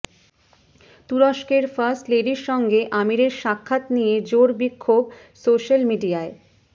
তুরস্কের ফার্স্ট লেডির সঙ্গে আমিরের সাক্ষাৎ নিয়ে জোর বিক্ষোভ সোশ্যাল মিডিয়ায়